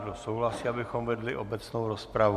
Kdo souhlasí, abychom vedli obecnou rozpravu?